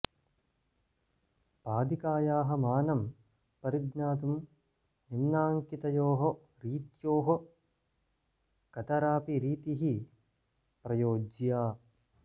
पादिकायाः मानं परिज्ञातुं निम्नाङ्कितयोः रीत्योः कतरापि रीतिः प्रयोज्या